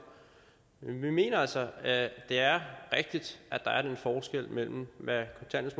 men vi mener altså at det er rigtigt at der er den forskel mellem hvad